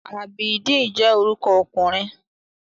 Abideen je oruko okunrin